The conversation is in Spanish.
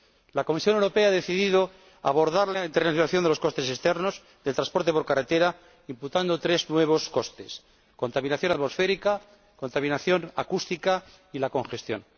La Comisión Europea ha decidido abordar la internalización de los costes externos del transporte por carretera imputando tres nuevos costes contaminación atmosférica, contaminación acústica y congestión.